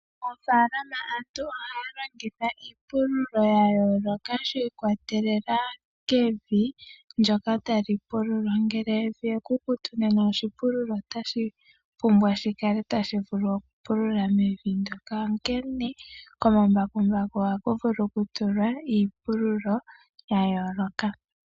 Moofaalama aantu ohaya longitha iipulilo ya yooloka, shi ikwatelela kevi ndyoka tali pululwa. Ngele evi ekukutu nena oshipululo otashi pumbwa shi kale tashi vulu okupulula mevi ndyoka, onkene komambakumbaku ohaku vulu okutulwa omatemo ga yooloka.